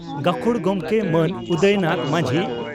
ᱜᱟᱹᱠᱷᱩᱲ ᱜᱚᱢᱠᱮ ᱢᱟᱱ ᱩᱫᱚᱭᱱᱟᱛᱷ ᱢᱟᱹᱡᱷᱤ